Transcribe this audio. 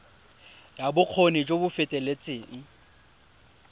ya bokgoni jo bo feteletseng